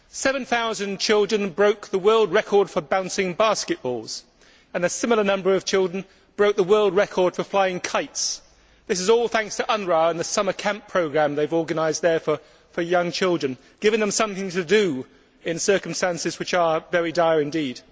Seven thousand children broke the world record for bouncing basketballs and a similar number of children broke the world record for flying kites. This is all thanks to UNRWA and the summer camp programme they have organised there for young children, giving them something to do in circumstances which are very dire indeed.